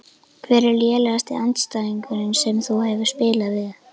Hver er lélegasti andstæðingurinn sem þú hefur spilað við?